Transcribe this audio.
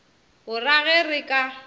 o ra ge re ka